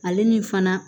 Ale ni fana